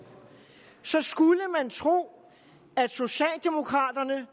så skulle man tro at socialdemokraterne